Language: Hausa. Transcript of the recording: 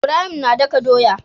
Ibrahim na daka doya